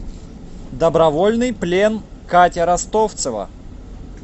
добровольный плен катя ростовцева